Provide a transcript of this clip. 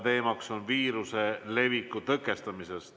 Teemaks on viiruse leviku tõkestamine.